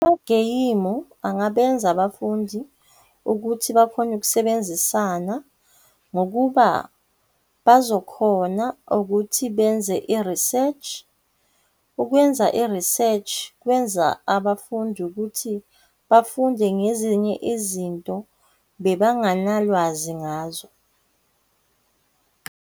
Amageyimu angabenza abafundi ukuthi bakhone ukusebenzisana, ngokuba bazokhona ukuthi benze i-research. Ukwenza i-research kwenza abafundi ukuthi bafunde ngezinye izinto bebanganalwazi ngazo.